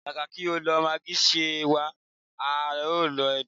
Kàkà kí o lo maagí, ṣe wà á lo edé?